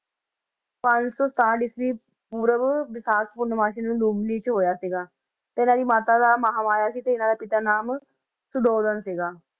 ਪੰਜ ਸੌ ਸਤਾਹਠ ਈਸਵੀ ਪੂਰਵ ਵਿਸਾਖ ਪੂਰਨਮਾਸੀ ਨੂੰ ਲੁੰਬਨੀ 'ਚ ਹੋਇਆ ਸੀਗਾ, ਤੇ ਇਹਨਾਂ ਦੀ ਮਾਤਾ ਦਾ ਮਹਾਂ ਮਾਇਆ ਸੀ ਤੇ ਇਹਨਾਂ ਦੇ ਪਿਤਾ ਦਾ ਨਾਮ ਸੁਧੋਦਨ ਸੀਗਾ।